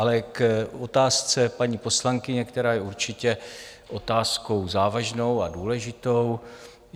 Ale k otázce paní poslankyně, která je určitě otázkou závažnou a důležitou.